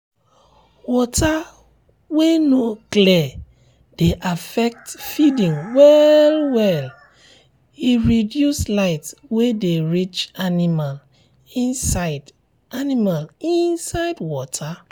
water wen no clear dey affect feeding well well e reduce light wey dey reach animal inside animal inside water